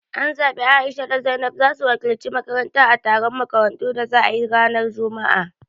An zabi A'isha da Zainab zasu wakilci makaranta a taron makarantu da za ayi ranar juma'a